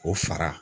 O fara